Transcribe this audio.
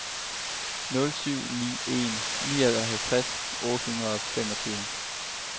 nul syv ni en nioghalvtreds otte hundrede og femogtyve